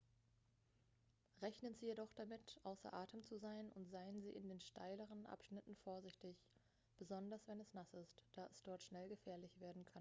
rechnen sie jedoch damit außer atem zu sein und seien sie in den steileren abschnitten vorsichtig besonders wenn es nass ist da es dort schnell gefährlich werden kann